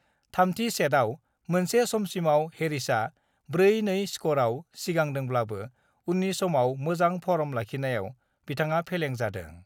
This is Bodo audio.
थामथि सेटआव मोनसे समसिमआव हेरिसआ 4-2 स्करआव सिगांदोब्लाबो उननि समाव मोजां फर्म लाखिनायाव बिथाङा फेलें जादों।